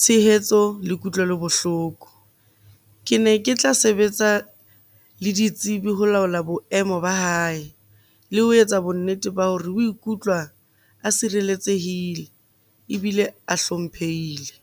tshehetso le kutlwelo bohloko. Ke ne ke tla sebetsa le ditsebi ho laola boemo ba hae le ho etsa bonnete ba hore o ikutlwa a sireletsehile, ebile a hlomphehile.